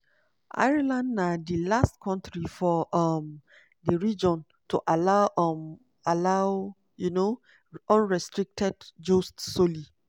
ireland na di last kontri for um di region to allow um allow um unrestricted jus soli.